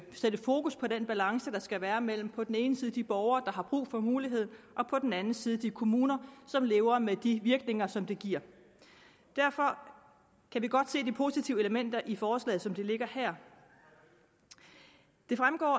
sætte fokus på den balance der skal være mellem på den ene side de borgere der har brug for muligheden og på den anden side de kommuner som lever med de virkninger som det giver derfor kan vi godt se de positive elementer i forslaget som det ligger her det fremgår